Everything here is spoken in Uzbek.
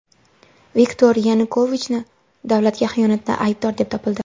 Viktor Yanukovichni davlatga xiyonatda aybdor deb topildi.